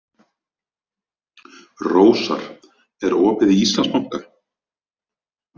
Rósar, er opið í Íslandsbanka?